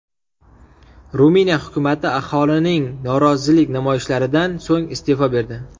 Ruminiya hukumati aholining norozilik namoyishlaridan so‘ng iste’fo berdi.